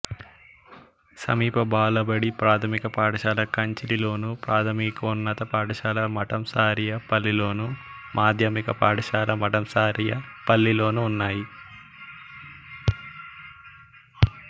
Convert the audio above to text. సమీప బాలబడి ప్రాథమిక పాఠశాల కంచిలిలోను ప్రాథమికోన్నత పాఠశాల మఠంసారియపల్లిలోను మాధ్యమిక పాఠశాల మఠంసారియపల్లిలోనూ ఉన్నాయి